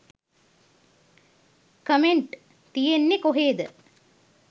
Comment තියෙන්නේ කොහේද?